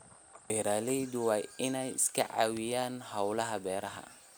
Beeralayda waa in ay iska caawiyaan hawlaha beeraha.